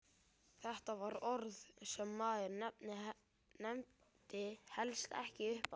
Þetta var orð sem maður nefndi helst ekki upphátt!